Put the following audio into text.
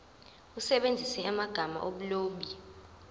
usebenzise amagama omlobi